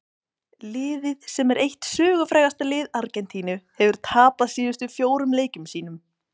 Liðið sem er eitt sögufrægasta lið Argentínu hefur tapað síðustu fjórum leikjum sínum.